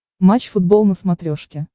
матч футбол на смотрешке